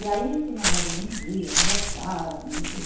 E aí punhamos a vida em dia, conversávamos e tudo.